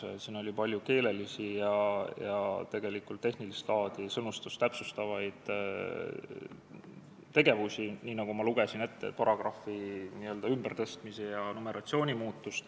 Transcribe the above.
Siin oli vaja teha palju keelelisi ja tegelikult tehnilist laadi, sõnastust täpsustavaid parandusi, nagu ma ette lugesin, tuli paragrahve ümber tõsta ja numeratsiooni muuta.